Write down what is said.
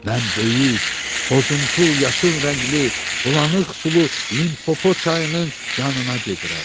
Mən böyük, boz-umtul yaşıl rəngli bulanıq sulu Limpopo çayının yanına gedirəm.